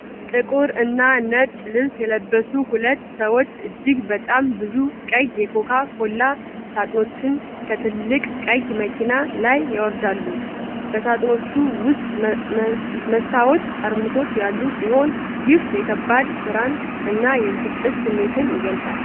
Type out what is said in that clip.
ጥቁር እና ነጭ ልብስ የለበሱ ሁለት ሰዎች እጅግ በጣም ብዙ ቀይ የኮካ ኮላ ሳጥኖችን ከትልቅ ቀይ መኪና ላይ ያወርዳሉ። በሳጥኖቹ ውስጥ መስታወት ጠርሙሶች ያሉ ሲሆን፣ ይህም የከባድ ስራን እና የብስጭት ስሜትን ይገልጻሉ።